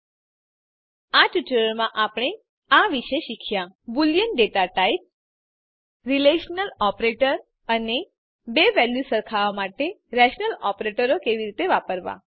in this tutorial we have learnt about the boolean data type આ ટ્યુટોરીયલમાં આપણે આ વિષે શીખ્યા boolean data type relational operator અને બે વેલ્યુઝ સરખાવવા માટે રેલેશનલ ઓપરેટરો કેવી રીતે વાપરવા